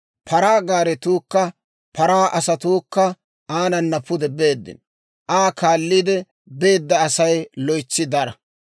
Paraa gaaretuukka paraa asatuukka aanana pude beeddino; Aa kaalliide beedda Asay loytsi dara.